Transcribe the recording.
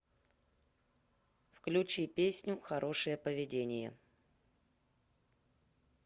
включи песню хорошее поведение